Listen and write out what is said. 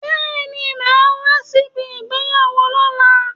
Bẹẹni, máa wá sí ibi ìgbéyàwó lóla